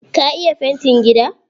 Ka iya fantin gida?